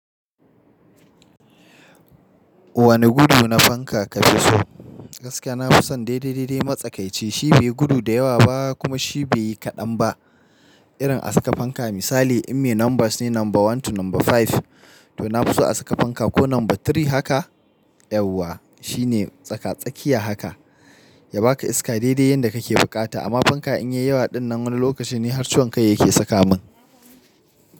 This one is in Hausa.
Wane gudu na fanka ka fi so? Gaskiya na fi son daidai-daidai matsakaici. Shi bai gudu da yawa ba kuma shi bai yi kaɗan ba. Irin a saka fanka misali in me numbers ne number one to number five to na fi so a saka fanka ko number three haka. Yauwa shine tsaka-tsakiya haka ya baka iska daidai yanda kake buƙata. Amma fanka in ya yi yawa ɗinnan wani lokaci ne har ciwon kai yake saka min.